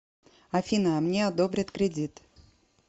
афина а мне одобрят кредит